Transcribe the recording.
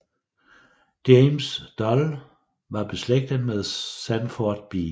James Dole var beslægtet med Sanford B